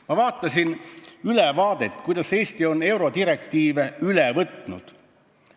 Ma vaatasin ülevaadet, kuidas Eesti on eurodirektiive üle võtnud.